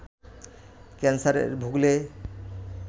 ক্যানসারে ভুগলে